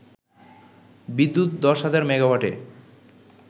বিদ্যুৎ দশ হাজার মেগাওয়াটে